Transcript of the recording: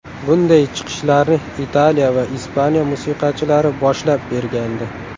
Bunday chiqishlarni Italiya va Ispaniya musiqachilari boshlab bergandi.